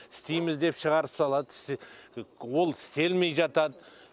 істейміз деп шығарып салат ол істелмей жатат